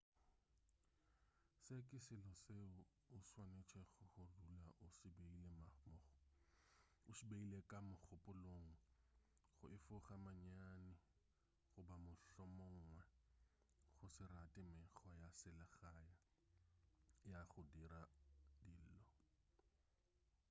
se ke selo seo o swanetšego go dula o se beile ka mogopolong go efoga manyami goba mohlomongwe go se rate mekgwa ya selegae ya go dira dilo